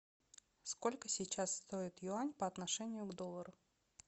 сколько сейчас стоит юань по отношению к доллару